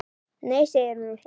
Nei segir hún og hlær.